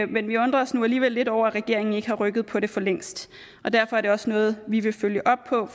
men vi undrer os nu alligevel lidt over at regeringen ikke har rykket på det for længst derfor er det også noget vi vil følge op på